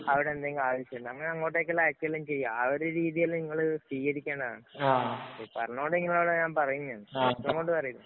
അവിടെ എന്തെങ്കിലും ആവശ്യമുണ്ടേ, അങ്ങനെ അങ്ങോട്ടേക്ക് അയക്കുക വല്ലോം ചെയ്യാം. ആ ഒരു രീതിയെല്ലാം നിങ്ങള് സ്വീകരിക്കണം. പറഞ്ഞോണ്ട് നിങ്ങളോട് ഞാന്‍ പറഞ്ഞയാണ്. പറയുന്നതാണ്.